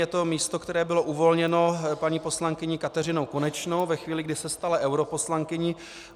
Je to místo, které bylo uvolněno paní poslankyní Kateřinou Konečnou ve chvíli, kdy se stala europoslankyní.